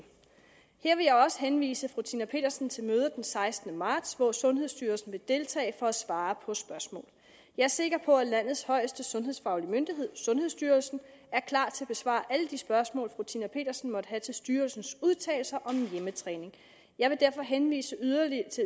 her vil jeg også henvise fru tina petersen til mødet den sekstende marts hvor sundhedsstyrelsen vil deltage for at svare på spørgsmål jeg er sikker på at landets højeste sundhedsfaglige myndighed sundhedsstyrelsen er klar til at besvare alle de spørgsmål fru tina petersen måtte have til styrelsens udtalelser om hjemmetræning jeg vil derfor henvise yderligere